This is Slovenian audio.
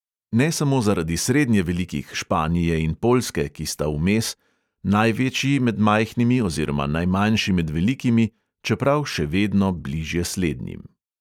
Ne samo zaradi srednje velikih, španije in poljske, ki sta vmes: največji med majhnimi oziroma najmanjši med velikimi, čeprav še vedno bližje slednjim.